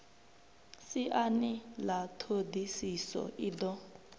siani ḽa ṱhodisiso i do